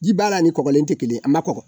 Ji b'a la ni kɔgɔlen tɛ kelen ye, a ma kɔgɔ.